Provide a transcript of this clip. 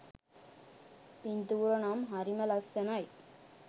පින්තූර නම් හරිම ලස්සනයි.